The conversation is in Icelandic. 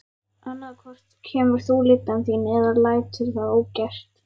Annað hvort kemur þú lyddan þín eða lætur það ógert.